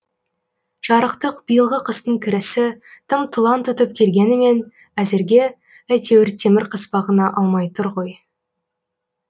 жарықтық биылғы қыстың кірісі тым тұлан тұтып келгенімен әзірге әйтеуір темір қыспағына алмай тұр ғой